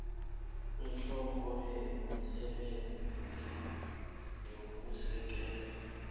ihloko yemisebenzi yokusekela